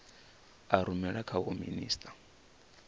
a rumela kha vho minisita